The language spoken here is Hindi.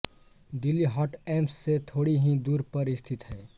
दिल्ली हाट एम्स से थोड़ी ही दूरी पर स्थित है